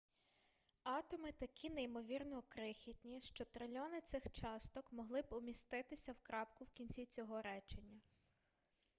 атоми такі неймовірно крихітні що трильйони цих часток могли б уміститися в крапку в кінці цього речення